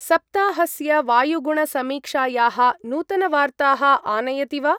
सप्ताहस्य वायुगुणसमीक्षायाः नूतनवार्ताः आनयति वा?